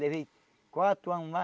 Levei quatro ano lá.